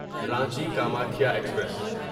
Ranchi Kamakhya express